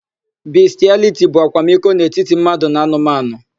Bistịaliti bụ akwamiko n'etiti mmadụ na anụmanụ.